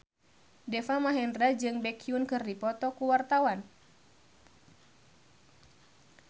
Deva Mahendra jeung Baekhyun keur dipoto ku wartawan